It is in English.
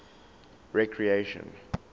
recreation